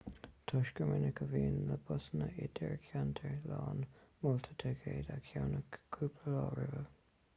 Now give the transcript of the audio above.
toisc gur minic a bhíonn na busanna idircheantair lán moltar ticéad a cheannach cúpla lá roimhe